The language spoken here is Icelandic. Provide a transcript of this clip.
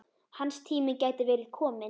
Hans tími gæti verið kominn.